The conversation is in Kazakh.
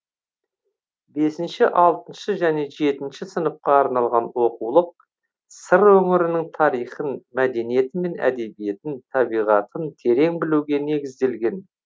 бесінші алтыншы және жетінші сыныпқа арналған оқулық сыр өңірінің тарихын мәдениеті мен әдебиетін табиғатын терең білуге негізделген